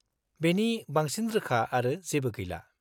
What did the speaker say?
-बेनि बांसिन रोखा आरो जेबो गैला।